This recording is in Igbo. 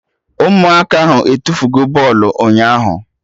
Ụmụaka ahụ etufugo bọlụ ụnyaahụ